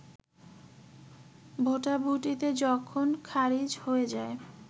ভোটাভুটিতে যখন খারিজ হয়ে যায়